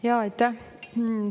Jaa, aitäh!